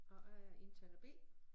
Og jeg er indtaler B